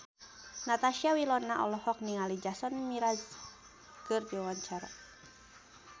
Natasha Wilona olohok ningali Jason Mraz keur diwawancara